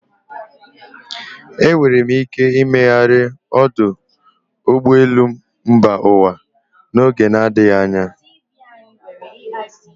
Enwere ike imegharị ọdụ ụgbọelu mba ụwa n'oge na adịghị anya.